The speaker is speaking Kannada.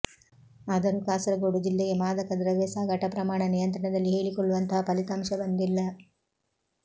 ಆದರೂ ಕಾಸರಗೋಡು ಜಿಲ್ಲೆಗೆ ಮಾದಕ ದ್ರವ್ಯ ಸಾಗಾಟ ಪ್ರಮಾಣ ನಿಯಂತ್ರಣದಲ್ಲಿ ಹೇಳಿಕೊಳ್ಳುವಂತಹ ಫಲಿತಾಂಶ ಬಂದಿಲ್ಲ